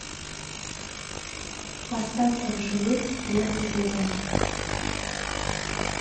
остаться в живых первый сезон